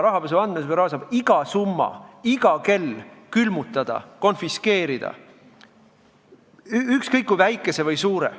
Rahapesu andmebüroo saab iga summa iga kell külmutada või konfiskeerida, ükskõik kui väikese või suure.